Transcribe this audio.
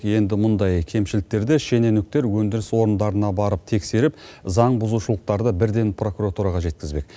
енді мұндай кемшіліктерді шенеуніктер өндіріс орындарына барып тексеріп заңбұзушылықтарды бірден прокуратураға жеткізбек